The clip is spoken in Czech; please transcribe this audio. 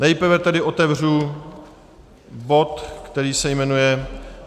Nejprve tedy otevřu bod, který se jmenuje